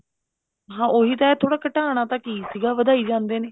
ਹਾਂ ਉਹੀ ਤਾਂ ਹੈ ਥੋੜਾ ਘਟਾਉਣਾ ਤਾਂ ਕੀ ਸੀਗਾ ਵਧਾਈ ਜਾਂਦੇ ਨੇ